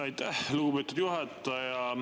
Aitäh, lugupeetud juhataja!